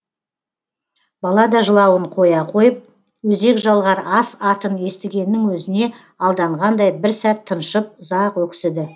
бала да жылауын қоя қойып өзек жалғар ас атын естігеннің өзіне алданғандай бір сәт тыншып ұзақ өксіді